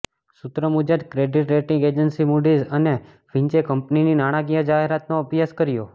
સૂત્રો મુજબ credit rating agency Moody's અને ફિંચે કંપનીની નાણાકીય જાહેરાતનો અભ્યાસ કર્યો